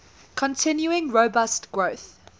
continuing robust growth